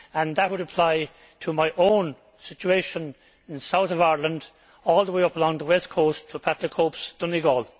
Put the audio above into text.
That would apply to my own situation in the south of Ireland, all the way up along the west coast to Pat the Cope's Donegal.